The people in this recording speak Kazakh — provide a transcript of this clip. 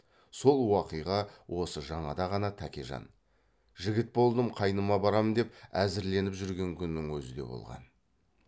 сол уақиға осы жаңада ғана тәкежан жігіт болдым қайныма барам деп әзірленіп жүрген күннің өзі де болған